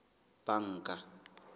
banka